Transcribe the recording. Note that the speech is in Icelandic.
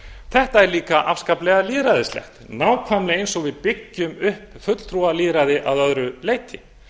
þetta er líka afskaplega lýðræðislegt nákvæmlega eins og við byggjum upp fulltrúalýðræði að öðru leyti